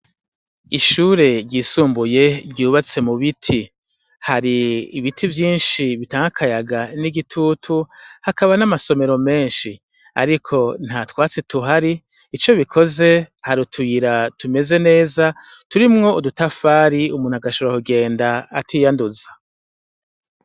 Ishure ryisumbuye ryubatse mu biti hari ibiti vyinshi bitankakayaga n'igitutu hakaba n'amasomero menshi, ariko nta twatsi tuhari ico bikoze hari utuyira tumeze neza turimwo udutafari umuntu agashura kugenda atiyanduza.